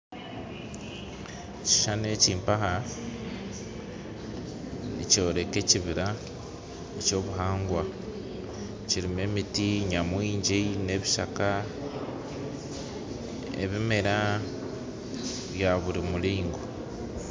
Ekishuushani eki mpaha nikyoreka ekibiira eky'obuhangwa kirimu emiti nyamwingi n'ebishaka n'ebimera bya buri muringo